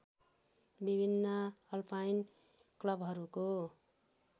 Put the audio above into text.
विभिन्न अल्पाइन क्लबहरूको